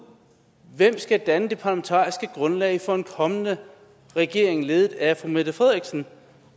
hvem der skal danne det parlamentariske grundlag for en kommende regering ledet af fru mette frederiksen